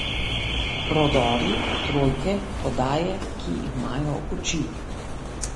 Prodori, trojke, podaje, ki imajo oči...